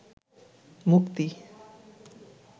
মুক্তি